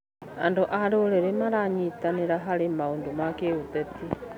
Andũ a rũrĩrĩ maranyitanĩra harĩ maũndũ ma kĩũteti.